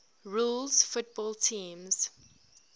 rules football teams